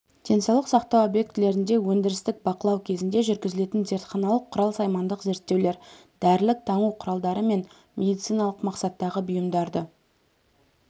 денсаулық сақтау объектілерінде өндірістік бақылау кезінде жүргізілетін зертханалық-құрал-саймандық зерттеулер дәрілік таңу құралдары мен медициналық мақсаттағы бұйымдарды